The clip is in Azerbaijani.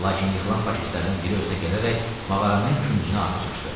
Lakin yıxılan faşistlərdən biri özünə gələrək mağaranın küncünə atəş açdı.